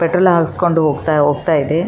ಇಲ್ಲಿ ಕಸ ಹಾಕುವ ಒಂದು ಕೆಂಪು ಬಣ್ಣದ ಡಬ್ಬವನ್ನು ಇ--